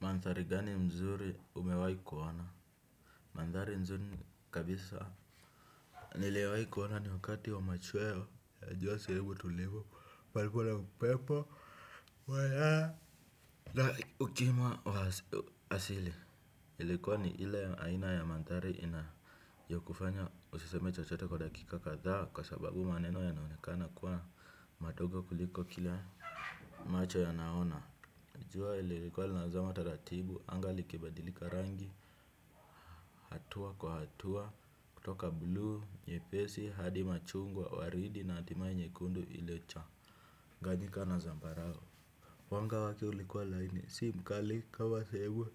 Mandhari gani mzuri umewai kuona. Mandhari nzuri kabisa. Niliyowai kuana ni wakati wa machweo ya jua siribu tulivu palikula na upepo wa yaa na ukima wa asili ilikuwa ni ile aina ya mandhari ya kufanya usiseme chochote kwa dakika kathaa kwa sababu maneno yanaonekana kuwa madogo kuliko kila macho yanaona. Jua lililikuwa linazama taratibu anga likibadilika rangi hatua kwa hatua kutoka blue nyepesi hadi machungwa waridi na hatimaye nyekundu ile chaganyika na zambarau. Wanga wake ulikuwa laini si mkali kama sehemu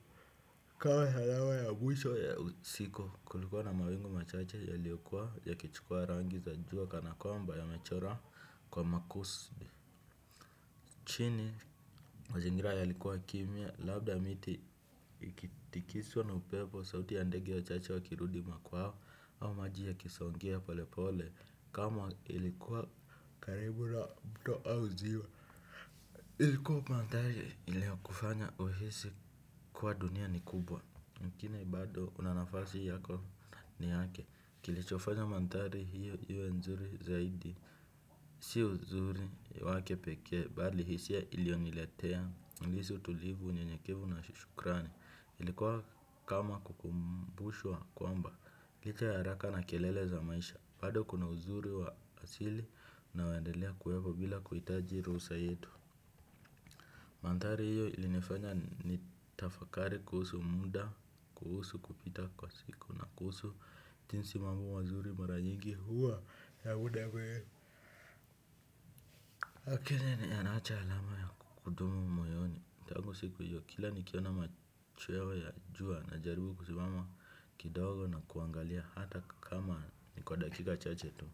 kawmaa salawa ya mwisho ya usiku kulikuwa na mawingu machache yaliyokua yakichukua rangi za jua kanakwamba yamechora kwa makusudi. Chini mazingira yalikua kimya labda miti ikitikiswa na upepo sauti ya ndege wachache wakirudi makwao au maji yakisongea pole pole kama ilikuwa karibu na mto au ziwa. Ilikuwa mandhari iliyokufanya uhisi kuwa dunia ni kubwa. Mkini bado unanafasi yako ni yake kilichofanya mandhari hiyo iwe nzuri zaidi. Si uzuri wake pekee bali hisia iliyoniletea nilihisi utulivu unyenyekevu na shukrani ilikuwa kama kukumbushwa kwamba licha ya haraka na kelele za maisha bado kuna uzuri wa asili unaoendelea kuwepo bila kuhitaji ruhusa yetu. Mandhari hiyo ilinifanya nitafakari kuhusu muda kuhusu kupita kwa siku na kuhusu jinsi mambo mazuri mara nyingi huwa ya huda we lakini yanaacha alama ya kudumu moyoni. Tangu siku hio kila nikiona machweo ya jua najaribu kusimama kidogo na kuangalia hata kama nikwa dakika chache tu.